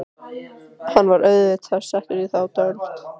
Hann var auðvitað settur í þá deild.